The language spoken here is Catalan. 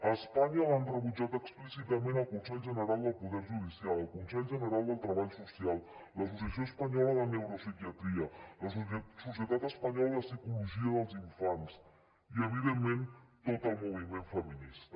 a espanya l’han rebutjat explícitament el consell general del poder judicial el consell general del treball social l’associació espanyola de neuropsiquiatria la societat espanyola de psicologia dels infants i evidentment tot el moviment feminista